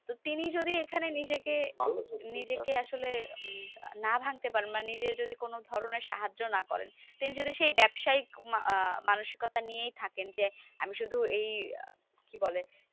তিনি যদি এখানে নিজেকে নিজেকে আসলে না ভাঙতে পারেন বা নিজের যদি কোনো ধরণের সাহায্য না করেন। তিনি যদি সেই ব্যাবসায়িক মা~ মানসিকতা নিয়েই থাকেন যে, আমি শুধু এই কি বলে?